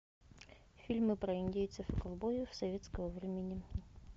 фильмы про индейцев и ковбоев советского времени